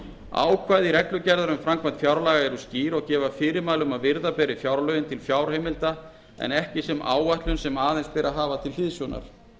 ákvæði reglugerðar um framkvæmd fjárlaga eru skýr og gefa fyrirmæli um að virða beri fjárlögin til fjárheimilda en ekki sem áætlun sem aðeins beri að hafa til hliðsjónar